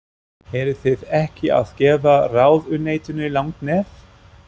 Eruð þið ekki að gefa ráðuneytinu langt nef?